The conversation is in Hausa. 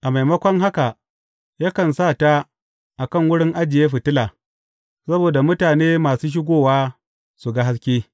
A maimakon haka, yakan sa ta a kan wurin ajiye fitila, saboda mutane masu shigowa su ga haske.